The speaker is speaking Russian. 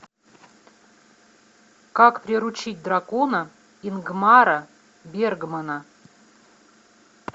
как приручить дракона ингмара бергмана